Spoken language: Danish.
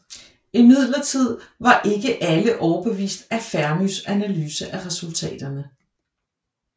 Imidlertid var ikke alle overbeviste af Fermis analyse af resultaterne